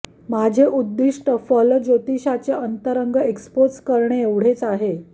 माझे उद्दिष्ट फलज्योतिषाचे अंतरंग एक्स्पोज करणे एवढेच आहे